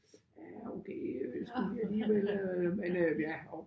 Ja okay øh skulle vi alligevel men øh ja og